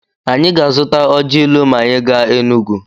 Anyị ga-azụta ọji ilu ma anyị gaa Enugwu.